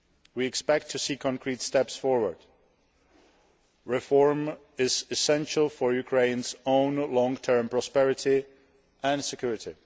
We expect to see concrete steps forward. Reform is essential for Ukraine's own long term prosperity and security.